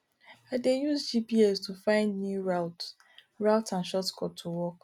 i dey use gps to find new routes routes and shortcuts to work